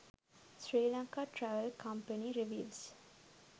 sri lanka travel company reviews